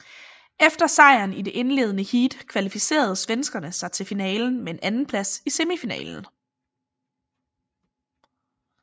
Efter sejr i det indledende heat kvalificerede svenskerne sig til finalen med en andenplads i semifinalen